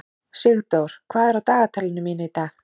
Sigdór, hvað er á dagatalinu mínu í dag?